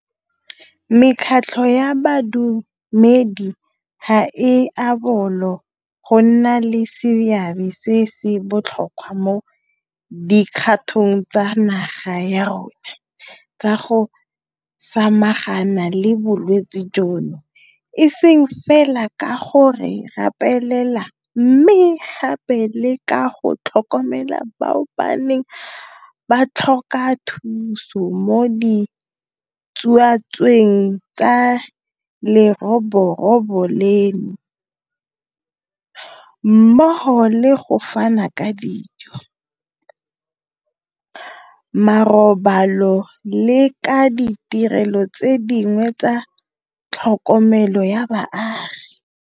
Mekgatlho ya badumedi ga e a bolo go nna le seabe se se botlhokwa mo dikgatong tsa naga ya rona tsa go samagana le bolwetse jono, e seng fela ka go re rapelela, mme gape le ka go tlhokomela bao ba neng ba tlhoka thuso mo ditsuatsueng tsa leroborobo leno, mmogo le go fana ka dijo, marobalo le ka ditirelo tse dingwe tsa tlhokomelo ya baagi.